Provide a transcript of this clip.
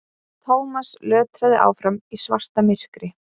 Thomas lötraði áfram í svartamyrkri.